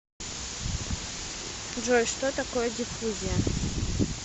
джой что такое диффузия